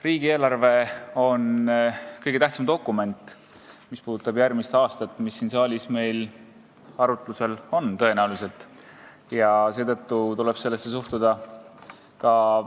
Riigieelarve on siin saalis arutatav kõige tähtsam dokument, mis puudutab järgmist aastat, ja sellesse tuleb ka vastavalt suhtuda.